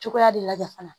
Cogoya de la fana